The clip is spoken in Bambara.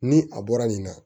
Ni a bɔra nin na